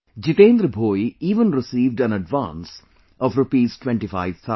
Jitendra Bhoi even received an advance of Rupees twenty five thousand